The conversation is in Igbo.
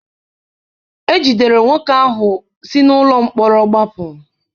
Ejidere nwoke ahụ si n'ụlọ mkpọrọ gbapụ.